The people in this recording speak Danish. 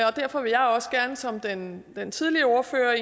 og derfor vil jeg også gerne som den den tidligere ordfører